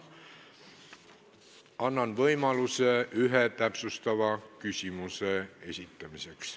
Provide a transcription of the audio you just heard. Annan võimaluse ühe täpsustava küsimuse esitamiseks.